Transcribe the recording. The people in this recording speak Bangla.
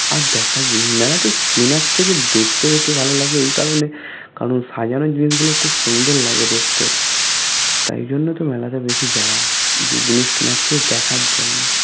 আর দেখার কিনার থেকে দেখতে বেশি ভালো লাগে এইকারণে কারণ সাজানোর জিনিস গুলো খুব সুন্দর লাগে দেখতে তাই জন্যতো মেলাতে বেশি যাওয়া জিনিস কিনারচে দেখার জন্য